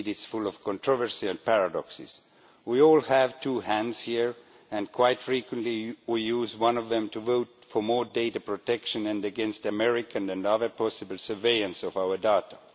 Indeed, it is full of controversy and paradoxes. We all have two hands here, and quite frequently we use one of them to vote for more data protection and against American and other possible surveillance of our data.